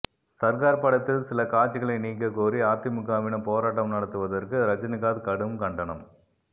சர்கார் படத்தில் சில காட்சிகளை நீக்க கோரி அதிமுகவினர் போராட்டம் நடத்துவதற்கு ரஜினிகாந்த் கடும் கண்டனம்